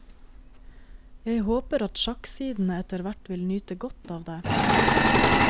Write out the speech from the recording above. Jeg håper at sjakksidene etterhvert vil nyte godt av det.